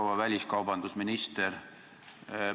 Proua väliskaubandusminister!